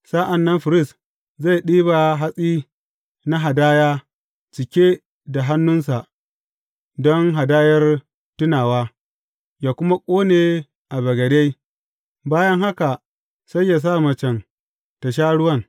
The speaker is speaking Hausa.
Sa’an nan firist zai ɗiba hatsi na hadaya cike da hannunsa don hadayar tunawa, yă kuma ƙone a bagade; bayan haka sai yă sa macen tă sha ruwan.